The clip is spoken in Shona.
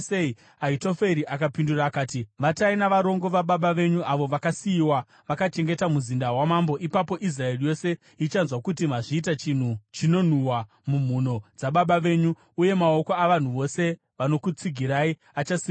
Ahitoferi akapindura akati, “Vatai navarongo vababa venyu avo vakasiyiwa vakachengeta muzinda wamambo. Ipapo Israeri yose ichanzwa kuti mazviita chinhu chinonhuhwa mumhuno dzababa venyu, uye maoko avanhu vose vanokutsigirai achasimbiswa.”